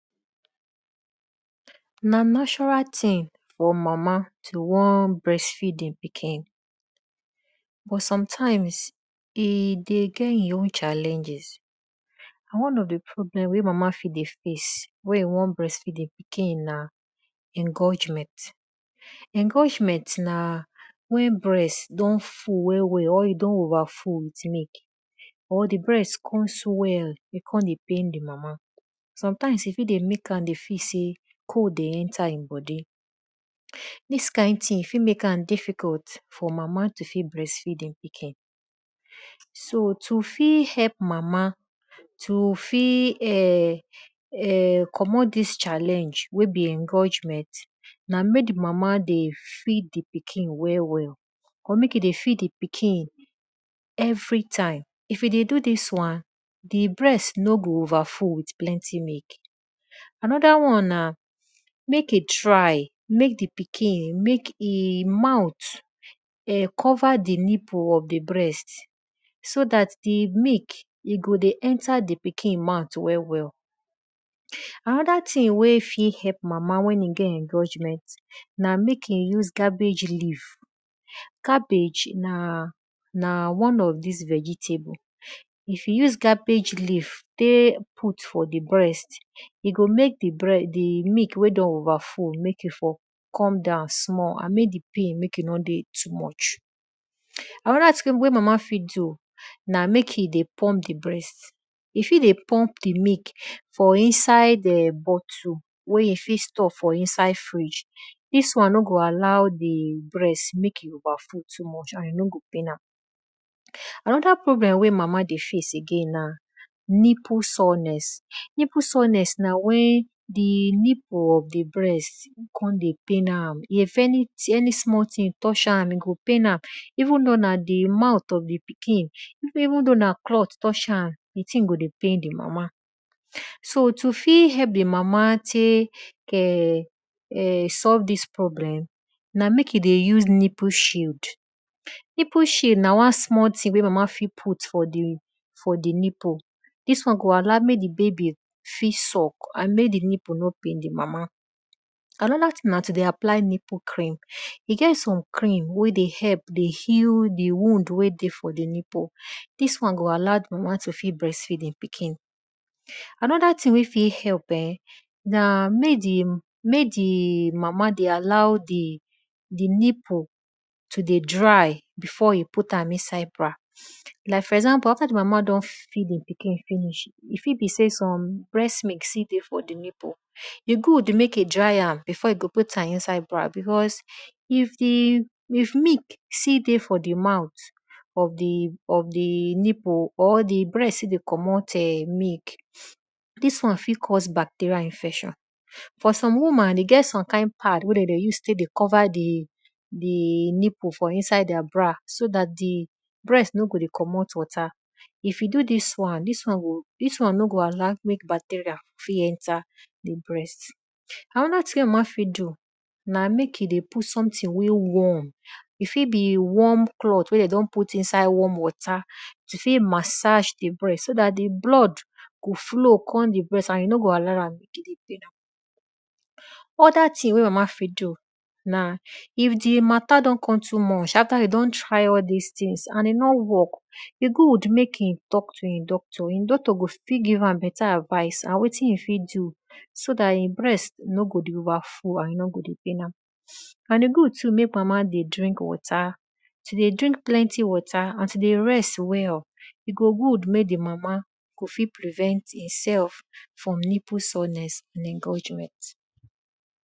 Nna natural thing for mama to won breast feed e pikin, but some times e dey get e own challenges and one of di problem wey mama dey face wen e won breast feed e pikin na engorgement. Engorgement na wen breast don full well well or e don oever full with milk, or di breast kon swell e kon dey pain di mama. Sometimes e fit dey mek am feel sey cold dey enter e bodi, dis kind thing fit mek am difficult for mama to fit breast feed e pikin. So to fit help mama, to fit help mek di mama dey no dey feel di engorgement na mek di mama dey feed di pikin well well. Or mek e dey feed di pikin everytime. If e dey do dis wan, di breast no go over full with plenty milk. Anoda won na mek e try mek di pikin mouth cover di nipple of di breast so dat di milk e go dey enter di pikin mouth well well. Anoda thing wen e fit help mm awn get engorgement na mek e use cabbage leav. Cabbage na one of di vegetable and if you rub am for di breast, e go mek di breast mek e for comedown small. Mek di pain mek e for nor dey too much. Anoda thing wey mama fit do na mek e dey pumpdi breat, you fit dey pump di milk you fit store for inside fridge dis won no go allow di breast mek e over full too much and e no go pain am. Anoda problem wey mama dey face na nipple sourness. Nipple sourness na wen di nipple of di breast dey pain am, wen if anything touch di breast, e go dey pain am even though na di mouth of di pikin, even though na cloth touch am, di thing go dey pain dimama. So to fit help di mama solve nipple problem na mek she dey use nipple shield. Nipple shield na wan small thing wey di mama fit put for di nipple. Dis won go allow mek di baby fit suck andmek di nipple no pain di mama. Anoda thing na mek she deyapply cream. E get some cream wey dey help to heal di wound wey dey di nipple. Dis won go allow mek di mama to fit feed e pikin. Anoda thing wey fit help eh na mek di mama dey allow di nipple to dey dry before e put am inside bra. Like for example after di mama don feed di pikin finish, e fit be sey some breast don still dey for di nipple, e good mek e dey am before e put am inside bra because if milk still dey for di mouth of di nipple or di breast still dey commot milk, dis won fit cause bacterial infection. For some woman, e get somekind pad wey de dey use tek dey cover di nipple for inside their bra so dat di breast no go dey commot water. If you do dis wan, dis wan no go allow bacterial enter di breast. Anoda thing wey de fit do na mek e dey put something wey dey dwarm, e fit be warm cloth wey de don put for inside warm water to fit massage di breast so dat di blood go fit dey flow and e no go allow am dey poain am. Other thing wey ma afit do if di mata de don kon too much afta de don try all dis things e nor work, e good mk e talk to e doctor. E doctor fit give am beta advice on wetin e go fit do so dat e breast no go dey over flow and e no go dey pain am. And e good too mek mama dey drink plenty water, to dey drink plenty water and to dey rest well. E go good mek di mama go fit prevent e sef from nipple sourness and engorgement.